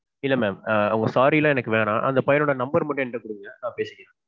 இல்ல mam. ஆ உங்க sorry லாம் எனக்கு வேண்டாம். அந்த பையனோட number மட்டும் எங்கிட்ட குடுங்க நான் பேசிக்கிறேன்.